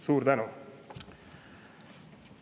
Suur tänu!